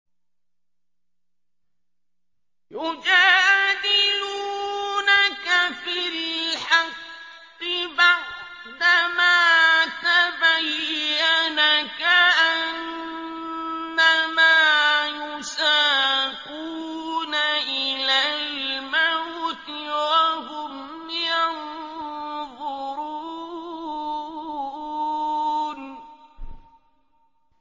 يُجَادِلُونَكَ فِي الْحَقِّ بَعْدَمَا تَبَيَّنَ كَأَنَّمَا يُسَاقُونَ إِلَى الْمَوْتِ وَهُمْ يَنظُرُونَ